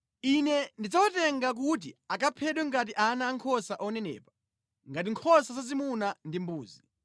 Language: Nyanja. “Ine ndidzawatenga kuti akaphedwe ngati ana ankhosa onenepa, ngati nkhosa zazimuna ndi mbuzi.